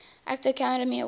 actor academy award